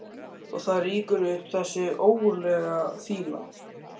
Og það rýkur upp þessi ógurlega fýla.